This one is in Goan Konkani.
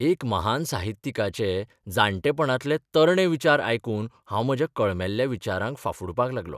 एका महान साहित्यिकाचे जाण्टेपणांतले 'तरणे 'विचार आयकून हांव म्हज्या कळमेल्ल्या विचारांक फाफुडपाक लागलों.